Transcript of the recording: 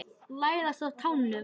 Læðast á tánum.